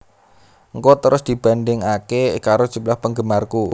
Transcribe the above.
Ngko terus dibandhingake karo jumlah penggemarku